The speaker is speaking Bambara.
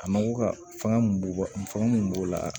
A mako ka fanga mun b'o fɛn mun b'o la